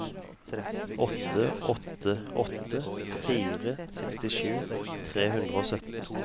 åtte åtte åtte fire sekstisju tre hundre og sytten